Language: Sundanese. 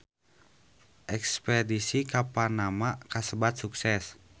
Espedisi ka Panama kasebat sukses